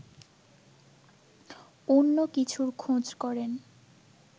অন্য কিছুর খোঁজ করেন